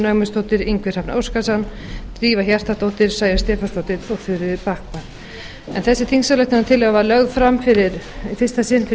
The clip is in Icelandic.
ögmundsdóttir ingvi hrafn óskarsson drífa hjartardóttir sæunn stefánsdóttir og þuríður backman en þessi þingsályktunartillaga var lögð fram í fyrsta sinn fyrir